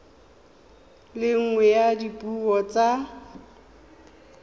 le nngwe ya dipuo tsa